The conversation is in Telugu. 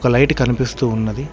ఒక లైట్ కనిపిస్తూ ఉన్నది.